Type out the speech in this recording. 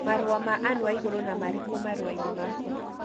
Marũa ma Ann Waiguru na marĩku marũa-inĩ makwa